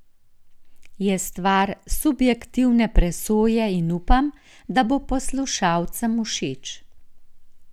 Je stvar subjektivne presoje in upam, da bo poslušalcem všeč.